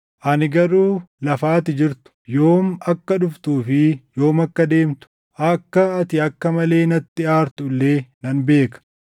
“ ‘Ani garuu lafa ati jirtu, yoom akka dhuftuu fi yoom akka deemtu, akka ati akka malee natti aartu illee nan beeka.